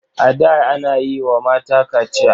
A da ana yi wa mata kachiya.